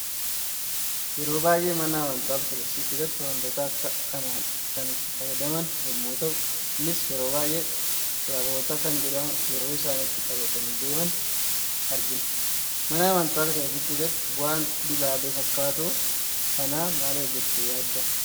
Yeroo baay'ee mana amantaa ortoodoksii keessatti wantoota akka kana kan itti fayyadaman yemmu ga'u, innis yeroo baay'ee taaphoota kan jedhamu yeroo isaan ittin qabatani deeman argina. Mana amantaa ortodooksi keesaatti bu'aan dibaabee fakkatu kana maaliidha jette yaadda?